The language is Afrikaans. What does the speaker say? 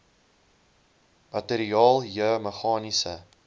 materiaal j meganiese